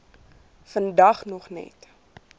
vandag nog net